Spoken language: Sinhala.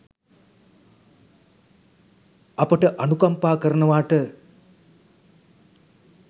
අපට අනුකම්පා කරනවාට.